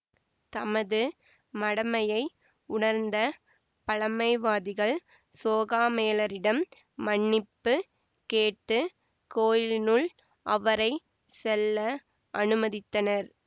தமது மடமையை உணர்ந்த பழமைவாதிகள் சோகாமேளரிடம் மன்னிப்பு கேட்டு கோயிலினுள் அவரை செல்ல அனுமதித்தனர்